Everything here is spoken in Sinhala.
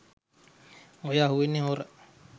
ඔය අහුවෙන්නේ හොර